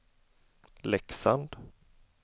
Leksand